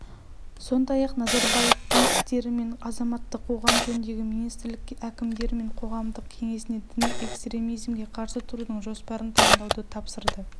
сондай-ақ назарбаев дін істері және азаматтық қоғам жөніндегі министрлікке әкімдер мен қоғамдық кеңесіне діни экстремизмге қарсы тұрудың жоспарын дайындауды тапсырды